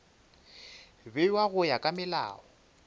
bewa go ya ka molao